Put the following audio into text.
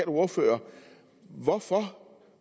ordfører hvorfor